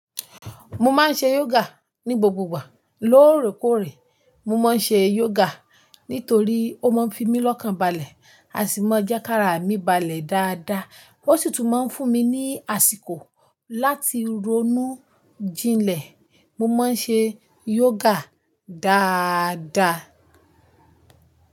Mo máa ń ṣe yoga ní gbogbo ìgbà. Lóòrèkóòrè mo ma n se yoga, nitori o ma n fi mi ni ọkan balẹ asi ma jẹki ara mi balẹ daada. Ó sì tún máa ń fún mi ní àsìkò láti ronú jinlẹ̀. Mo máa ń ṣe yoga dáadáa.